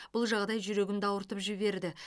бұл жағдай жүрегімді ауыртып жіберді